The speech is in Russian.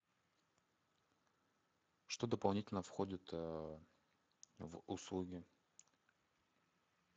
что дополнительно входит в услуги